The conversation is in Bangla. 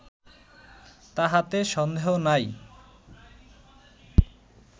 তাহাতে সন্দেহ নাই